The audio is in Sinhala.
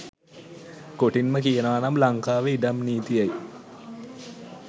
කොටින්ම කියනවා නම් ලංකාවේ ඉඩම් නීතියයි